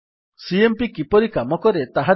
CMP କିପରି କାମକରେ ତାହା ଦେଖିବା